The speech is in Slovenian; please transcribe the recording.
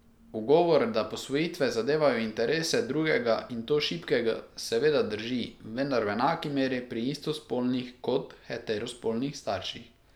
Ugovor, da posvojitve zadevajo interese drugega, in to šibkega, seveda drži, vendar v enaki meri pri istospolnih kot heterospolnih starših.